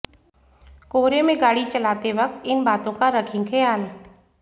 कोहरे में गाड़ी चलाते वक्त इन बातों का रखें खयाल